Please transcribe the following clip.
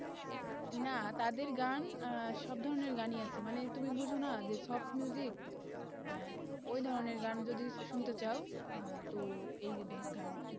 না তাদের গান আহ সব ধরনের গানই আছে, মানে তুমি বুঝো না যে soft আহ ওই ধরনের গান যদি শুনতে চাও আহ তো এই